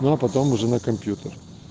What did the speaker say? ну а потом уже на компьютер